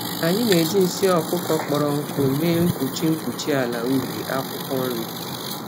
Anyị na-eji nsị ọkụkọ kpọrọ nkụ mee mkpuchi mkpuchi ala ubi akwụkwọ nri.